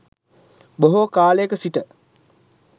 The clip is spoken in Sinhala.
බොහෝ කාලයක සිට